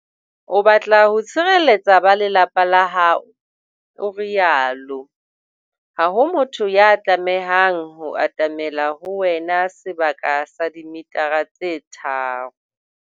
"O batla ho tshireletsa ba lelapa la hao," o rialo. Ha ho motho ya tlamehang ho atamela ho wena sebaka sa dimetara tse tharo.